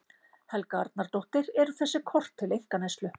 Helga Arnardóttir: Eru þessi kort til einkaneyslu?